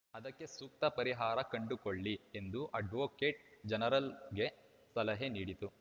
ಅದಕ್ಕೆ ಸೂಕ್ತ ಪರಿಹಾರ ಕಂಡುಕೊಳ್ಳಿ ಎಂದು ಅಡ್ವೋಕೇಟ್‌ ಜನರಲ್‌ಗೆ ಸಲಹೆ ನೀಡಿತು